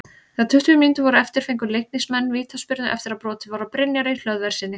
Þegar tuttugu mínútur voru eftir fengu Leiknismenn vítaspyrnu eftir að brotið var á Brynjari Hlöðverssyni.